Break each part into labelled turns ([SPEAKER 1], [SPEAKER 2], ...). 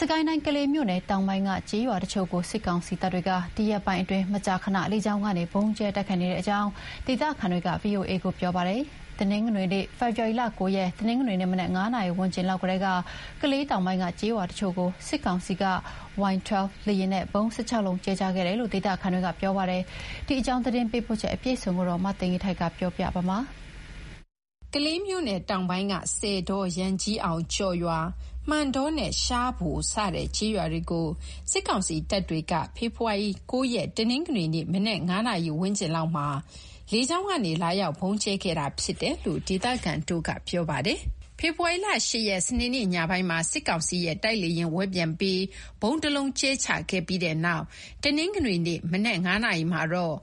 [SPEAKER 1] စစ်ကိုင်းတိုင်း၊ ကလေးမြို့နယ်တောင်ပိုင်းက ကျေးရွာတချို့ကို စစ်ကောင်စီတပ်တွေက ဒီရက်ပိုင်းအတွင်း မကြာခဏ လေကြောင်းကနေ ဗုံးကြဲတိုက်ခိုက်နေတဲ့အကြောင်း ဒေသခံတွေက ဗွီအိုအေ ကို ပြောပါတယ်။ ဖေဖော်ဝါရီ ၉ ရက် တနင်္ဂနွေနေ့ မနက် ၅ နာရီ ဝန်းကျင်လောက်ကတည်းက ကလေးတောင်ပိုင်းက ကျေးရွာတချို့ကို စစ်ကောင်စီက Y12 လေယာဉ်နဲ့ ဗုံး ၁၆ လုံး ကြဲချခဲ့တယ်လို့ ဒေသခံတွေက ပြောပါတယ်။ ရန်ကုန်က သတင်းပေးပို့ထားပါတယ်။ ကလေးမြို့နယ်တောင်ပိုင်းက ဆည်တော၊ ရန်ကြီးအောင်၊ ကျော်ရွာ၊ မှန်တောနဲ့ ရှားဖို စတဲ့ ကျေးရွာတွေကို စစ်ကောင်စီတပ်တွေက ဖေဖော်ဝါရီ ၉ ရက် တနင်္ဂနွေနေ့ မနက် ၅ နာရီဝန်းကျင်မှာ လေကြောင်းကနေ လာရောက် ဗုံးကြဲခဲ့တာဖြစ်တယ်လို့ ဒေသခံတွေက ပြောပါတယ်။ ဖေဖော်ဝါရီ ၈ ရက်၊ စနေ့နေ့ ညပိုင်းမှာ စစ်ကောင်စီရဲ့ တိုက်လေယာဉ် ဝဲပျံပြီး ဗုံးတလုံး ကြဲချခဲ့ပြီးတဲ့နောက် တနင်္ဂနွေနေ့မနက် ၅ နာရီမှာတော့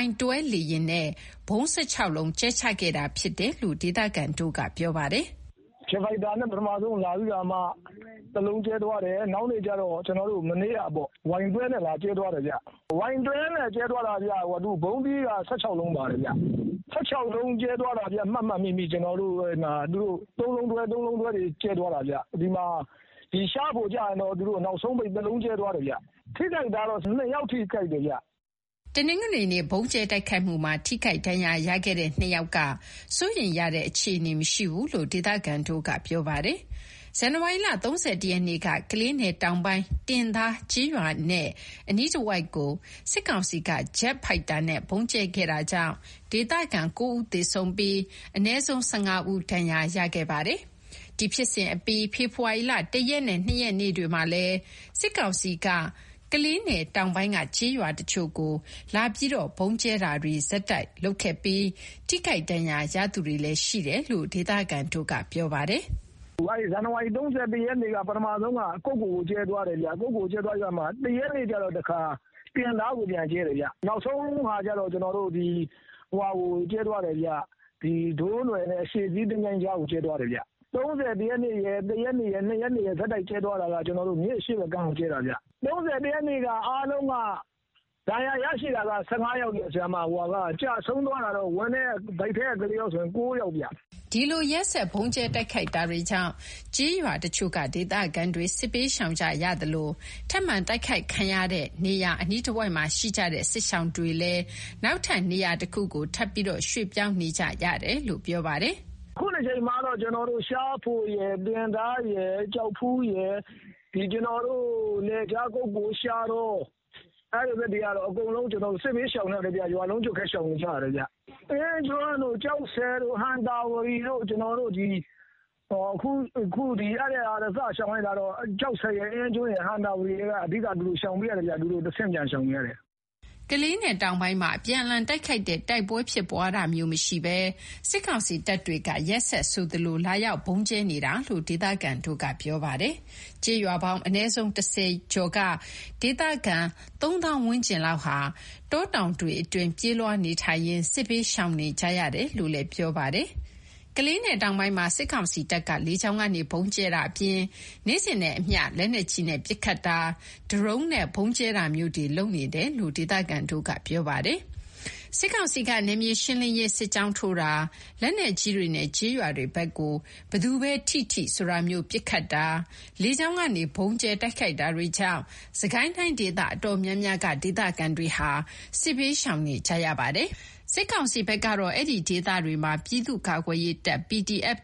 [SPEAKER 1] Y12 လေယာဉ်နဲ့ ဗုံး ၁၆ လုံး ကြဲချခဲ့တာဖြစ်တယ်လို့ ဒေသခံတွေက ပြောပါတယ်။
[SPEAKER 2] “ပထမဆုံးကတော့ သူတို့ ဂျက်ဖိုက်တာနဲ့ ပထမဆုံးလာပြီးခါမှ တလုံးကြဲသွားတယ်။ နောက်နေ့ကျတော့ ကျွန်တော်တို့က မနေ့ကပေါ့၊ Y12 နဲ့ လာကြဲသွားတယ်ဗျ။ Y12 နဲ့ ကြဲသွားတာ ဗုံးသီးက ၁၆ လုံးပါတယ်ဗျ။ ၁၆ လုံး ကြဲသွားတာဗျ၊ ကျွန်တော်တို့ မှတ်မှတ်မိမိ၊ ၃ လုံးတွဲ ၃ လုံးတွဲတွေ ကြဲသွားတာဗျ၊ ဒီမှာ ရှားဘိုကျတော့ နောက်ဆုံးအနေနဲ့ သူတို့ ၁ လုံး ကြဲသွားတယ်ဗျ။ ထိခိုက်တာတော့ ၂ ယောက်ထိခိုက်တယ်ဗျ။”
[SPEAKER 1] တနင်္ဂနွေနေ့ ဗုံးကြဲတိုက်ခိုက်မှုမှာ ထိခိုက်ဒဏ်ရာရခဲ့တဲ့ ၂ ယောက်က စိုးရိမ်ရတဲ့အခြေအနေ မရှိဘူးလို့လည်း ဒေသခံတွေက ပြောပါတယ်။ ဇန်နဝါရီ ၃၁ ရက်နေ့က ကလေးနယ်တောင်ပိုင်း တင်သားကျေးရွာနဲ့ အနီးတဝိုက်ကို စစ်ကောင်စီက ဂျက်ဖိုက်တာနဲ့ ဗုံးကြဲခဲ့တာကြောင့် ဒေသခံ ၉ ဦးသေဆုံးပြီး အနည်းဆုံး ၁၅ ဦး ဒဏ်ရာရခဲ့ပါတယ်။ ဒီဖြစ်စဉ်အပြီးမှာ ဖေဖော်ဝါရီ ၁ ရက်နဲ့ ၂ ရက်နေ့တွေမှာလည်း စစ်ကောင်စီက ကလေးနယ်တောင်ပိုင်းက ကျေးရွာတချို့ကို လာရောက် ဗုံးကြဲတာတွေ ဆက်တိုက်လုပ်ခဲ့ပြီး ထိခိုက်ဒဏ်ရာရသူတွေလည်း ရှိတယ်လို့ ဒေသခံတွေက ပြောပါတယ်။
[SPEAKER 2] “ဇန်နဝါရီ ၃၁ ရက်နေ့က ပထမဆုံးက ကုက္ကိုကို ကြဲသွားတယ်ဗျ။ နောက် ၁ ရက်နေ့ကျတော့ တခါ တင်သားကို ပြန်ကြဲတယ်ဗျ။ နောက်ဆုံးတခေါက်ကျတော့ သူတို့က ဒိုးနွယ်နဲ့ အရှေ့စည်း သင်္ချိုင်းကြားကို ကြဲသွားတယ်ဗျ။ ၃၁ ရက်နေ့ရယ်၊ ၁ ရက်နေ့ရယ်၊ ၂ ရက်နေ့ရယ် ဆက်တိုက်ကြဲသွားတာက မြစ်အရှေ့ဘက်ကမ်းကို ကြဲသွားတာဗျ။ ၃၁ ရက်နေ့က အားလုံးက ဒဏ်ရာရတာက
[SPEAKER 1] ၁၅ ယောက်၊ ကျဆုံးတာက ဗိုက်ထဲက ကလေးပါအပါဆိုရင် ၉ ယောက်ဗျ။” ဒီလို ရက်ဆက် ဗုံးကြဲတိုက်ခိုက်တာတွေကြောင့် ကျေးရွာတချိုု့က ဒေသခံတွေ စစ်ဘေးရှောင်ကြရသလို ထပ်မံတိုက်ခိုက်ခံရတဲ့နေရာ အနီးတဝိုက်မှာရှိကြတဲ့ စစ်ရှောင်တွေကလည်း နောက်ထပ် နေရာတခုကို ထပ်ပြီး ရွေ့ပြောင်းနေကြရတယ်လို့ ပြောပါတယ်။
[SPEAKER 2] “ခုတကြိမ်မှာကတော့ ကျွန်တော်တို့က ရှားဖိုရယ်၊ တင်သားရယ်၊ ကျောက်ဖူးရယ်၊ ဒီ ကျွန်တော်တို့ ကုက္ကို၊ ရှားတော အဲ့ဘက်တွေကတော့ အကုန်လုံး စစ်ဘေးရှောင်ကြတယ်ဗျ။ ရွာလုံးကျွတ်ပဲ ရှောင်ကြရတယ်ဗျ။ အင်းကျွန်းတို့၊ ကျောက်ဆည်တို့၊ ဟံသာဝတီတို့ ခုက သူတို့က အဲ့က စရှောင်လာကြတာက ကျောက်ဆည်၊ အင်းကျွန်း၊ ဟံသာဝတီက ခု ထပ်ပြီးတဆင့် ပြန်ရှောင်နေရပြန်တယ်ဗျ။”
[SPEAKER 1] ကလေးနယ်တောင်ပိုင်းမှာ အပြန်အလှန်တိုက်ခိုက်တဲ့တိုက်ပွဲ ဖြစ်ပွားတာမျိုးမရှိဘဲ စစ်ကောင်စီတပ်တွေက ရက်ဆက်ဆိုသလို လာရောက် ဗုံးကြဲနေတာလို့လည်း ဒေသခံတွေက ပြောပါတယ်။ ကျေးရွာပေါင်း အနည်းဆုံး ၁၀ ကျော်က ဒေသခံ ၃၀,၀၀၀ ဝန်းကျင်လောက်ဟာ တောတောင်တွေအတွင်း ပြေးလွားနေထိုင်ရင်း စစ်ဘေးရှောင်နေကြရတယ်လို့ ပြောပါတယ်။ ကလေးနယ်တောင်ပိုင်းမှာ စစ်ကောင်စီတပ်က လေကြောင်းကနေ ဗုံးကြဲတာအပြင် နေ့စဉ်နဲ့အမျှ လက်နက်ကြီးနဲ့ ပစ်ခတ်တာ၊ ဒရုန်းနဲ့ ဗုံးကြဲတာမျိုးတွေ လုပ်နေတယ်လို့ ဒေသခံတွေက ပြောဆိုပါတယ်။ စစ်ကောင်စီက နယ်မြေရှင်းလင်းရေး စစ်ကြောင်းထိုးတာ၊ လက်နက်ကြီးတွေနဲ့ ကျေးရွာတွေဘက်ကို ဘယ်သူပဲထိထိ ဆိုတာမျိုး ပစ်ခတ်တာ၊ လေကြောင်းကနေ ဗုံးကြဲတိုက်ခိုက်တာတွေကြောင့် စစ်ကိုင်းတိုင်း ဒေသအတော်များများက ဒေသခံတွေဟာ စစ်ဘေးရှောင်နေကြရပါတယ်။ စစ်ကောင်စီကတော့ အဲ့ဒီဒေသတွေမှာ ပြည်သူ့ကာကွယ်ရေးတပ်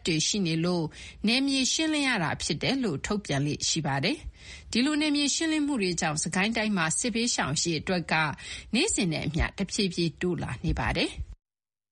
[SPEAKER 1] တွေရှိနေလို့ နယ်မြေရှင်းလင်းရတာဖြစ်တယ်လို့ ထုတ်ပြန်လေ့ရှိပါတယ်။ ဒီလို နယ်မြေရှင်းလင်းမှုတွေကြောင့် စစ်ကိုင်းတိုင်းမှာ စစ်ဘေးရှောင်အရေအတွက် နေ့စဉ်နဲ့အမျှ တဖြည်းဖြည်း တိုးလာနေပါတယ်။